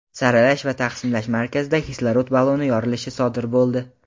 saralash va taqsimlash markazida kislorod balloni yorilishi sodir bo‘ldi.